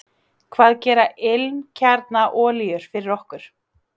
Hvað gera ilmkjarnaolíur fyrir okkur?